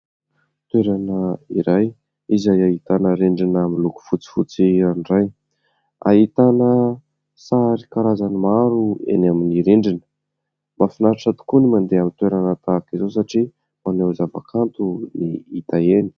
Toerana iray izay ahitana rindrina miloko fotsifotsy ranoray. Ahitana sary karazany maro eny amin'ny rindrina. Mahafinaritra tokoa ny mandeha amin'ny toerana tahaka izao satria maneho ny zava-kanto ny hita eny.